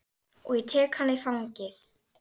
Og ég tek hana í fangið.